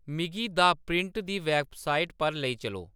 मिगी दा प्रिंट दी वैबसाइट पर लेई चलो